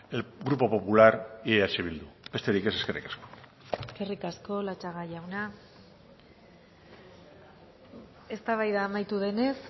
el grupo popular y eh bildu besterik ez eskerrik asko eskerrik asko latxaga jauna eztabaida amaitu denez